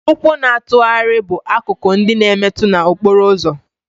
Ụkwụ na-atụgharị bụ akụkụ ndị na-emetu na okporo ụzọ